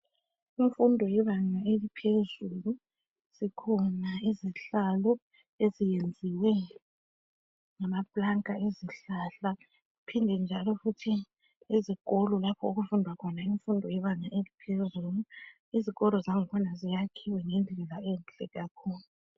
Kumfundo yebanga eliphezulu zikhona izihlalo eziyenziwe ngamaplanka ezihlahla. Kuphinde njalo futhi ezikolo lapho okufundwa khona imfundo yebanga eliphezulu izikolo zangkhona ziyakhiwe ngendlela enhle kakhulu.